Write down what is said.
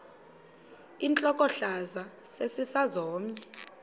intlokohlaza sesisaz omny